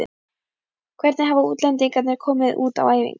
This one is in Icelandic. Hvernig hafa útlendingarnir komið út á æfingum?